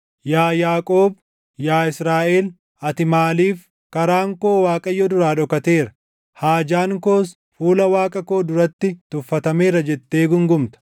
Yaa Yaaqoob, yaa Israaʼel, ati maaliif, “Karaan koo Waaqayyo duraa dhokateera; haajaan koos fuula Waaqa koo duratti tuffatameera” jettee guungumta?